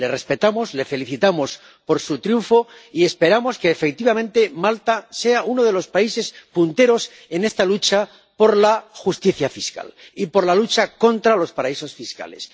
Le respetamos, le felicitamos por su triunfo y esperamos que, efectivamente, Malta sea uno de los países punteros en esta lucha por la justicia fiscal y por la lucha contra los paraísos fiscales.